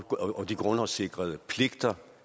og de grundlovssikrede pligter